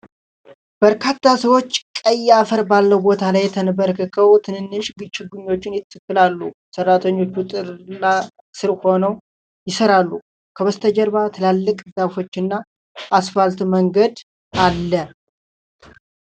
በርካታ ሰዎች ቀይ አፈር ባለው ቦታ ላይ ተንበርክከው ትንንሽ ችግኞችን ይተክላሉ። ሠራተኞቹ ጥላ ስር ሆነው ይሠራሉ፤ ከበስተጀርባ ትላልቅ ዛፎች እና አስፋልት መንገድ አለ።